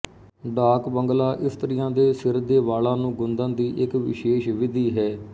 ਡਾਕ ਬੰਗਲਾ ਇਸਤਰੀਆਂ ਦੇ ਸਿਰ ਦੇ ਵਾਲਾਂ ਨੂੰ ਗੁੰਦਣ ਦੀ ਇੱਕ ਵਿਸ਼ੇਸ਼ ਵਿਧੀ ਹੈ